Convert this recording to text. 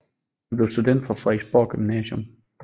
Han blev student fra Frederiksborg Gymnasium